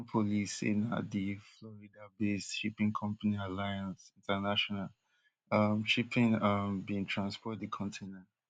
haitian police say na di floridabased shipping company alliance international um shipping um bin transport di container